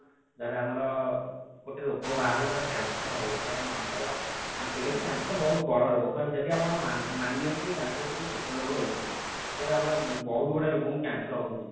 ଧର ଆମର ଗୋଟେ ରୋଗ ବାହାରିଲା ଧର cancer ହୋଉଛି ଧର ମନେକର ଏବେ ତ cancer ଟା ବହୁତ ବଡ ରୋଗ ଯଦି ଆପଣ ମାନି ନିଅନ୍ତୁ କି cancer ଗୋଟେ ବଡ ରୋଗ ହେଇଛି ଧର ଆମର ବହୁତ ଗୁଡେ ଲୋକଙ୍କୁ cancer ହଉଛି